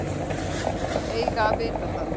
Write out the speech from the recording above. Eiga að vita það.